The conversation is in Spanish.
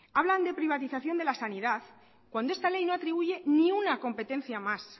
hablan de privatización de la sanidad cuando esta ley no atribuye ni una competencia más